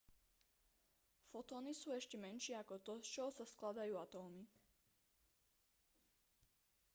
fotóny sú ešte menšie ako to z čoho sa skladajú atómy